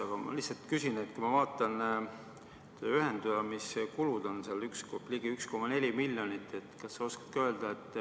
Aga ma küsin selle kohta, et ma vaatan, need ühendamise kulud on ligi 1,4 miljonit.